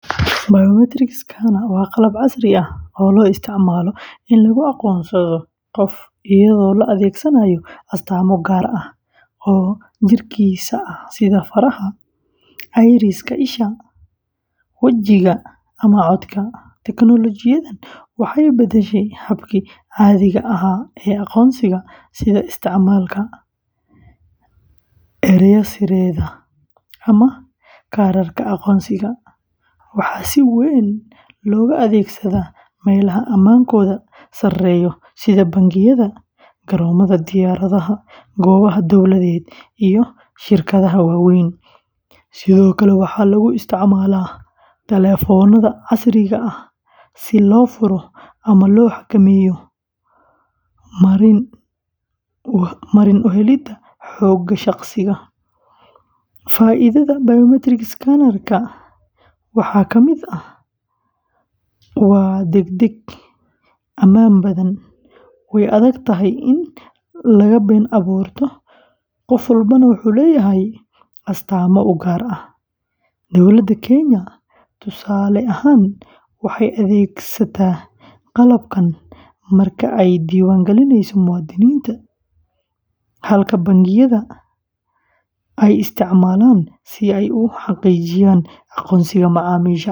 Biometric scanner waa qalab casri ah oo loo isticmaalo in lagu aqoonsado qof iyadoo la adeegsanayo astaamo gaar ah oo jirkiisa ah sida faraha, iris-ka isha, wajiga, ama codka. Teknoolojiyaddan waxay beddeshay habkii caadiga ahaa ee aqoonsiga sida isticmaalka eray-sirreedyada ama kaararka aqoonsiga. Waxaa si weyn looga adeegsadaa meelaha ammaankooda sareeyo sida bangiyada, garoomada diyaaradaha, goobaha dowladeed, iyo shirkadaha waaweyn. Sidoo kale, waxaa lagu isticmaalaa taleefannada casriga ah si loo furo ama loo xakameeyo marin u helidda xogta shaqsiga. Faa’iidada biometric scanner-ka waxaa ka mid ah: waa degdeg, ammaan badan, way adag tahay in la been abuurto, qof walbana wuxuu leeyahay astaamo u gaar ah. Dowladda Kenya, tusaale ahaan, waxay adeegsataa qalabkan marka ay diiwaan gelinayso muwaadiniinta, halka bangiyo sida ay isticmaalaan si ay u xaqiijiyaan aqoonsiga macaamiisha.